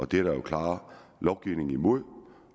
det er der jo en klar lovgivning imod